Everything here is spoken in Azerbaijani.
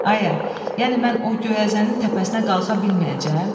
Ayə, yəni mən o göyəzənin təpəsinə qalxa bilməyəcəyəm?